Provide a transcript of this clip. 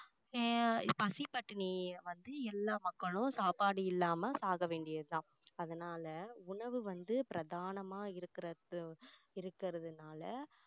ஆஹ் பசி பட்டினி வந்து எல்லாம் மக்களும் சாப்பாடு இல்லாம சாக வேண்டியது தான் அதனால உணவு வந்து பிரதானமா இருக்கிறது~ இருக்கிறதுனால